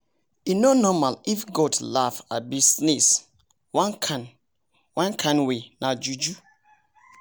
e no normal if a goat laugh abi sneez one kind way nah juju